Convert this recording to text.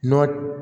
Nɔtɛ